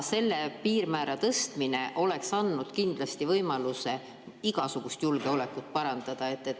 Selle piirmäära tõstmine oleks andnud kindlasti võimaluse igasugust julgeolekut parandada.